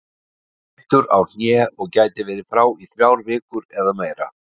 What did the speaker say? Hann er meiddur á hné og gæti verið frá í þrjár vikur eða meira.